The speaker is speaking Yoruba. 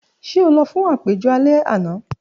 Ṣe o lọ fun apejọ alẹ ana?